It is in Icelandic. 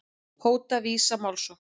Hóta Visa málsókn